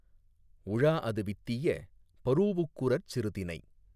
உழாஅது வித்திய பரூஉக்குரற் சிறுதினை